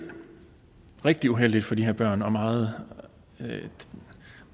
rigtig uheldigt for de her børn og meget